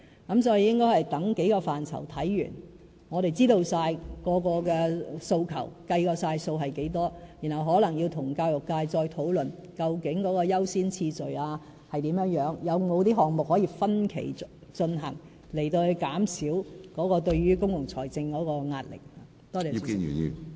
所以，我們應該等待各個範疇的研究完成後，知道每個訴求，計算需要多少資源，然後可能再與教育界討論，找出優先次序，有否項目可以分期進行，以減少對公共財政的壓力。